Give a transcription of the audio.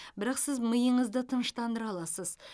бірақ сіз миыңызды тыныштандыра аласыз